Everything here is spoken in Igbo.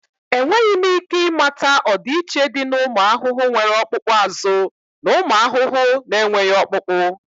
Enweghị m ike ịmata ọdịiche dị na ụmụ ahụhụ nwere ọkpụkpụ azụ na ụmụ ahụhụ na-enweghị ọkpụkpụ